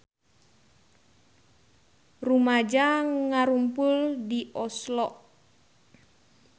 Rumaja ngarumpul di Oslo